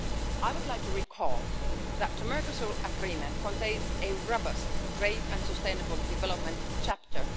I would like to recall that the Mercosur Agreement contains a robust trade and sustainable development chapter.